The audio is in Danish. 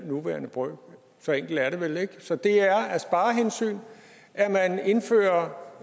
nuværende brøk så enkelt er det vel ikke så det er af sparehensyn at man indfører